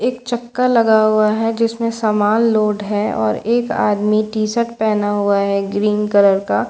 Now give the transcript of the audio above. एक चक्‍का लगा हुआ है जिसमें सामान लोड है और एक आदमी टी-शर्ट पहना हुआ है ग्रीन कलर का --